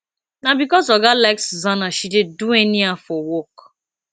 na because oga like susanna she dey do anyhow for work